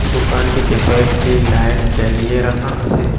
দোকানটিতে কয়েকটি লাইট জ্বালিয়ে রাখা আসে।